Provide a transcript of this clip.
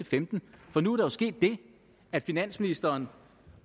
femten for nu er der sket det at finansministeren